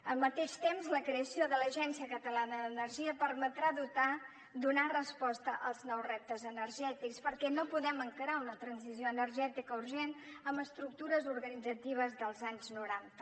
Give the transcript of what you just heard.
al mateix temps la creació de l’agència catalana d’energia permetrà donar resposta als nous reptes energètics perquè no podem encarar una transició energètica urgent amb estructures organitzatives dels anys noranta